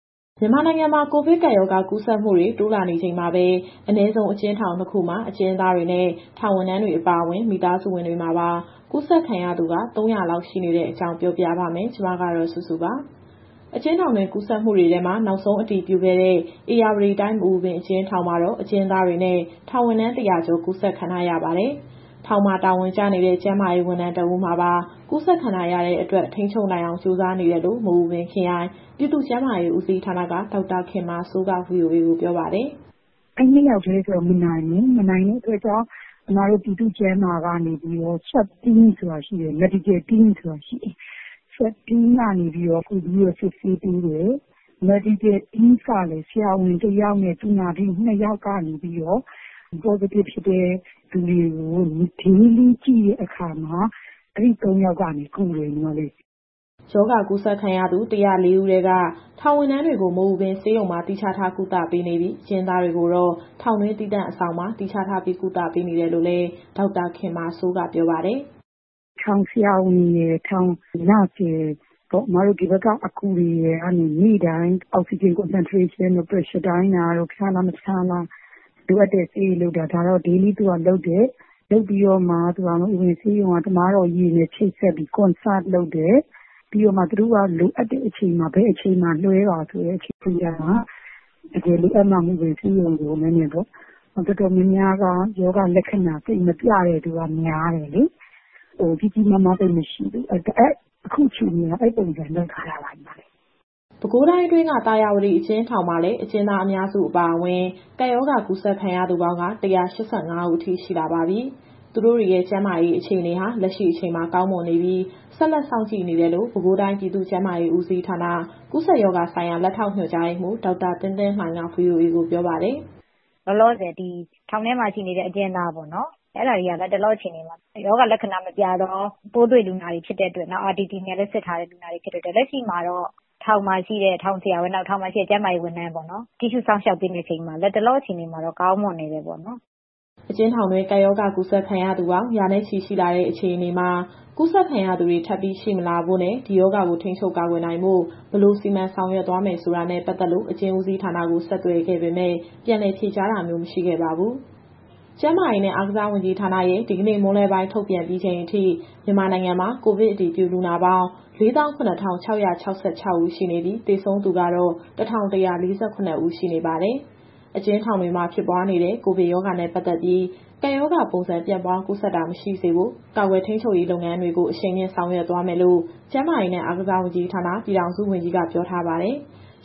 မြန်မာနိုင်ငံမှာ ကိုဗစ်ကပ်ရောဂါကူးစက်မှုတွေ တိုးလာနေချိန်မှာပဲ အနည်းဆုံး အကျဉ်းထောင်၂ ခုမှာ အကျဉ်းသားတွေ၊ ထောင်ဝန်ထမ်းတွေနဲ့ မိသားစုဝင်တွေပါ ကူးစက်ခံရသူ ၃၀၀ လောက် ရှိနေရတဲ့အကြောင်း ပြောပြပါမယ်။ ဒီသတင်းကို ဗွီအိုအေမြန်မာပိုင်း သတင်းထောက်မစုစုက တင်ဆက်ပေးမှာပါ။ အကျဉ်းထောင်တွင်း ကူးစက်မှုတွေထဲမှာ နောက်ဆုံး အတည်ပြုခဲ့တဲ့ ဧရာဝတီတိုင်း မအူပင်အကျဉ်းထောင်မှာတော့ အကျဉ်းသားတွေနဲ့ ထောင်ဝန်ထမ်း ၁၀၀ ကျော် ကူးစက်ခံထားရပါတယ်။ ထောင်မှာ တာဝန်ကျနေတဲ့ ကျန်းမာရေးဝန်ထမ်း တဦးမှာပါ ကူးစက်ခံထားရတဲ့အတွက် ထိန်းချုပ်နိုင်အောင် ကြိုးစားနေတယ်လို့ မအူပင်ခရိုင်၊ ပြည်သူ့ကျန်းမာရေးဦးစီးဌာနက ဒေါက်တာခင်မာစိုးက VOA ကိုပြောပါတယ်။ “အဲဒီ ၂ ယောက်တည်းဆိုတော့ မနိုင်ဘူး။ မနိုင်တဲ့အတွက် အစ်မတို့ ပြည်သူ့ကျန်းမာရေးကနေပြီးတော့ Swab Team နဲ့ Medical Team ဆိုတာရှိတယ်။ Swab Team ကနေပြီးတော့ ကူပြီးစစ်ဆေးပေးတယ်။ Medical Team ကလည်း ဆရာဝန် ၁ ယောက်နဲ့ သူနာပြု ၂ ယောက်ကနေပြီးတော့ Positive ဖြစ်တဲ့သူတွေကို Daily ကြည့်တဲ့အခါမှာ အဲဒီ ၃ ယောက်ကနေပြီးတော့ ကူပေးတယ်။” ရောဂါကူးစက်ခံရသူ ၁၀၄ ဦးထဲက ထောင်ဝန်ထမ်းတွေကို မအူပင်ဆေးရုံမှာ သီးခြားထားကုသပေးနေပြီး၊ အကျဉ်းသားတွေကိုတော့ ထောင်တွင်းသီးသန့် အဆောင်မှာ သီးခြားထားပြီး ကုသပေးနေတယ်လို့လည်း ဒေါက်တာခင်မာစိုးက ပြောပါတယ်။ “ထောင်ဆရာဝန်ရယ်၊ ထောင်သူနာပြုရယ်၊ အစ်မတို့ဒီဘက်က အကူတွေကနေပြီးတော့ နေ့တိုင်း Oxygen Concentration တို့၊ Pressure တိုင်းတာတို့၊ ဖျားလား မဖျားလား၊ လိုအပ်တဲ့ဆေးတွေပေးတာ ဒါကတော့နေ့တိုင်းလုပ်တယ်။ လုပ်ပြီးတော့မှ မအူပင်ဆေးရုံက သမားတော်ကြီးတွေနဲ့ ချိတ်ဆက်ပြီး Conserve လုပ်တယ်။ သူတို့က လိုအပ်တဲ့အချိန်မှာ ဘယ်အချိန်မှာ ဆေးရုံကိုလွှဲပါဆိုရင် မြန်မြန်ပေါ့။ တော်တော်များများက ရောဂါလက္ခဏာ သိပ်မပြတဲ့သူက များတယ်လေ၊ ကြီးကြီးမားမား သိပ်မရှိဘူး။ အခုအခြေအနေကတော့ အဲဒီပုံစံလုပ်ထားတာပါ။” ပဲခူးတိုင်းအတွင်းက သာယာဝတီအကျဉ်းထောင်မှာလည်း အကျဉ်းသားအများစုအပါအဝင် ကပ်ရောဂါကူးစက်ခံထားရသူပေါင်း ၁၈၅ ဦးအထိရှိလာပါပြီ။ သူတို့တွေရဲ့ကျန်းမာရေးအခြေအနေဟာ လက်ရှိအချိန်မှာ ကောင်းမွန်နေပြီး ဆက်လက်စောင့်ကြည့်နေတယ်လို့ ပဲခူးတိုင်း၊ ပြည်သူ့ကျန်းမာရေးဦးစီးဌာန၊ ကူးစက်ရောဂါဆိုင်ရာ လက်ထောက်ညွှန်ကြားရေးမှူး ဒေါက်တာသင်းသင်းလှိုင်က VOA ကိုပြောပါတယ်။ “လောလောဆယ် ဒီထောင်ထဲမှာရှိနေတဲ့ အကျဉ်းသားပေါ့နော်။ အဲဒါတွေက လတ်တလောအခြေအနေမှာ ရောဂါလက္ခဏာမပြသော ပိုးတွေ့လူနာတွေဖြစ်တဲ့အတွက် နောက် RPT (Rapid Test Kit) နဲ့လည်း စစ်ထားတဲ့လူနာတွေဖြစ်တဲ့အတွက် လက်ရှိမှာတော့ ထောင်မှာရှိတဲ့ ထောင်ဆရာဝန်၊ ကျန်းမာရေးဝန်ထမ်းတွေ ကြည့်ရှုစောင့်ရှောက်ပေးနေချိန်မှာ လတ်တလောအခြေအနေမှာတော့ ကောင်းမွန်နေတယ်ပေါ့နော်။” အကျဉ်းထောင်တွင်း ကပ်ရောဂါကူးစက်ခံရသူပေါင်း ရာနဲ့ချီ ရှိလာတဲ့အခြေအနေမှာ ကူးစက်ခံရသူတွေ ထပ်ပြီးရှိမလာဖို့နဲ့၊ ဒီရောဂါကိုထိန်းချုပ် ကာကွယ်နိုင်ဖို့ ဘယ်လိုစီမံဆောင်ရွက်သွားမယ်ဆိုတာနဲ့ ပတ်သက်လို့ အကျဉ်းဦးစီးဌာနကို ဆက်သွယ်ခဲ့ပေမဲ့ ပြန်လည်ဖြေကြားတာမျိုး မရှိခဲ့ပါဘူး။ ကျန်းမာရေးနဲ့ အားကစားဝန်ကြီးဌာနရဲ့ ဒီကနေ့မွန်းလွဲပိုင်း ထုတ်ပြန်ပြီးချိန်အထိ မြန်မာနိုင်ငံမှာ ကိုဗစ်အတည်ပြုလူနာပေါင်း ၄၇,၆၆၆ ဦးရှိနေပြီး သေဆုံးသူကတော့ ၁,၁၄၇ ဦးရှိနေပါတယ်။ အကျဉ်းထောင်တွေမှာ ဖြစ်ပွားနေတဲ့ ကိုဗစ်ရောဂါနဲ့ ပတ်သက်ပြီး ကပ်ရောဂါပုံစံ ပြန့်ပွားကူးစက်တာ မရှိစေဖို့ ကာကွယ်ထိန်းချုပ်ရေးလုပ်ငန်းတွေကို အရှိန်မြှင့်ဆောင်ရွက်သွားရမယ်လို့ ကျန်းမာရေးနဲ့အားကစားဝန်ကြီးဌာန၊ ပြည်ထောင်စုဝန်ကြီးက ပြောထားပါတယ်။